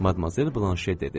Madmazel Blanş etdi.